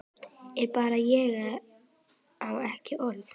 Ég bara á ekki orð.